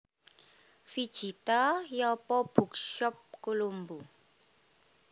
Vijitha Yapa Bookshop Colombo